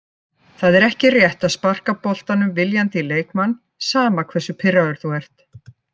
Það er ekki rétt að sparka boltanum viljandi í leikmann, sama hversu pirraður þú ert.